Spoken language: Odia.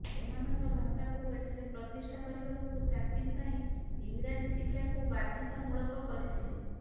ସେମାନଙ୍କର ଭାଷାକୁ ଏଠାରେ ପ୍ରତିଷ୍ଠା କରିବାକୁ ଚାକିରି ପାଇଁ ଇଂରାଜୀ ଶିକ୍ଷାକୁ ବାଧ୍ୟତାମୂଳକ କରିଥିଲେ